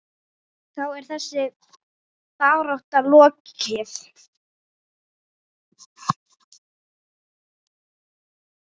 Þá er þessari baráttu lokið.